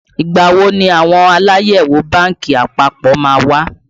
Ìgbà wo ni àwọn Aláyẹ̀wò bánkì àpapọ̀ má wá?